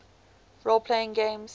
role playing games